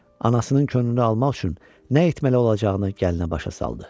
Anasının könlünü almaq üçün nə etməli olacağını gəlinə başa saldı.